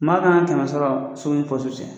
Maa kan ka kɛmɛ sɔrɔ so ni cɛ.